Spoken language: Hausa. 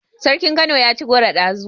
Sarkin kano yaci goro ɗazu